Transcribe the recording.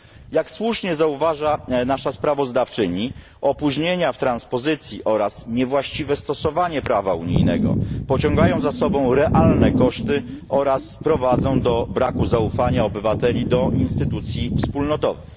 Jak słusznie zauważa nasza sprawozdawczyni, opóźnienia w transpozycji oraz niewłaściwe stosowanie prawa unijnego pociągają za sobą realne koszty oraz prowadzą do braku zaufania obywateli do instytucji wspólnotowych.